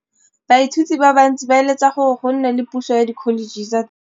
Baithuti ba bantsi ba eletsa gore go nne le pusô ya Dkholetšhe tsa Thuto.